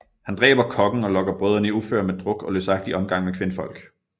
Han dræber kokken og lokker brødrene i uføre med druk og løsagtig omgang med kvindfolk